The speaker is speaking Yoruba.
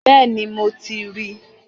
Bẹ́ẹ̀ni, mo ti ríi